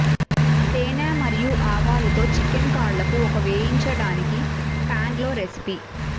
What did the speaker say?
తేనె మరియు ఆవాలు తో చికెన్ కాళ్ళకు ఒక వేయించడానికి పాన్లో రెసిపీ